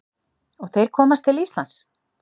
Og þeir komast til Íslands.